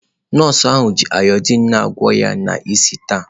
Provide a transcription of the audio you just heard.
Nọọsụ ahụ ji ayodiin na-agwọ ọnya ya n'isi taa.